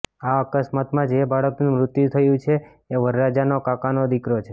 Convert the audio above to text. આ અકસ્માતમાં જે બાળકનું મૃત્યુ થયું છે એ વરરાજાનો કાકાનો દીકરો છે